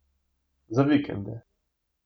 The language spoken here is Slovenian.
Za vikende.